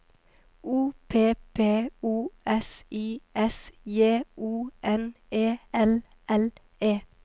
O P P O S I S J O N E L L E